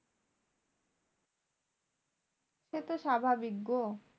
সেতো স্বাভাবিক গো।